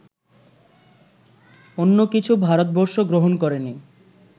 অন্য কিছু ভারতবর্ষ গ্রহণ করেনি